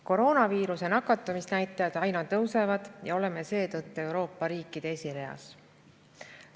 Koroonaviirusega nakatumise näitajad aina tõusevad ja oleme seetõttu Euroopa riikide esireas.